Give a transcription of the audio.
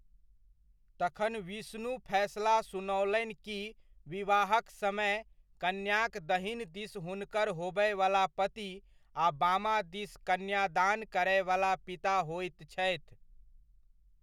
तखन विष्णु फैसला सुनओलनि कि विवाहक समय, कन्याक दहिन दिस हुनकर होबयवला पति आ बामा दिस कन्यादान करयवला पिता होइत छथि।